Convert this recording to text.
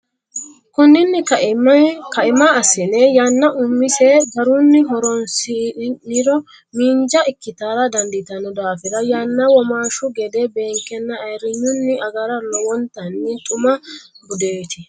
Konninni kaima assine yanna umise garunni horonsi niro miinja ikkitara dandiitanno daafira yanna womaashshu gede beenkenna ayirrinyunni agara lowontanni xuma budeeti.